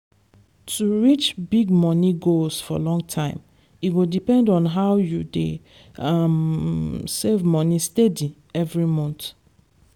to reach big money goals for long time e depend on how you dey um save moni steady every month.